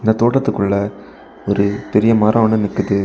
இந்த தோட்டத்துக்குள்ள ஒரு பெரிய மரம் ஒன்னு நிக்குது.